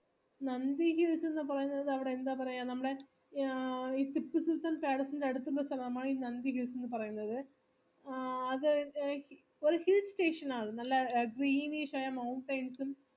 നന്ദി hills ന്ന് പറയുന്നത് അവിടെ എന്താ പറയാ അവിടെ നമ്മളേ ടിപ്പുസുൽത്താൻ palace ന്റെ അടുത്തുള്ള സ്ഥലമാണ് ഈ നന്ദി hills എന്ന് പറയുന്നത് ആ അത് എ station ആയിരുന്ന് നല്ല greenish ആയ mountains ഉം